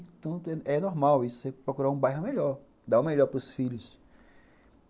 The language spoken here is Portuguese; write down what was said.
Então, é normal isso, procurar um bairro melhor, dar o melhor para os filhos.